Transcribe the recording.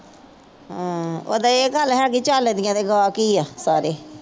ਹਾਂ। ਉਹ ਤਾਂ ਇਹ ਗੱਲ ਹੈਗੀ ਝਲਦੀਆਂ ਨੇ ਅਗਾੰਹ ਕੀ ਆ ਸਾਰੇ।